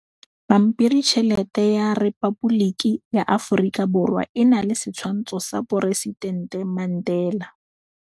Pampiritšheletê ya Repaboliki ya Aforika Borwa e na le setshwantshô sa poresitentê Mandela.